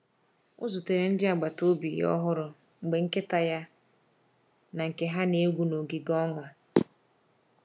Ọ zutere ndị agbata obi ọhụrụ mgbe nkịta ya na nke ha na-egwu n’ogige ọnụ.